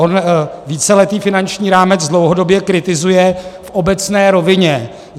On víceletý finanční rámec dlouhodobě kritizuje v obecné rovině.